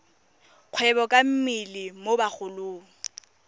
kgwebo ka mmele mo bagolong